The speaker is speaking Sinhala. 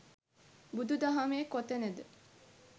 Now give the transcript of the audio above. බුදු දහමේ කොතනද